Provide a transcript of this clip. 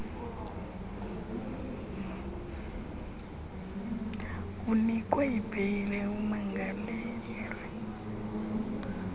unikwe ibheyile umangalelwe